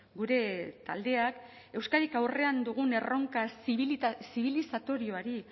gure taldeak euskadik aurrean dugun erronka zibilizatorioari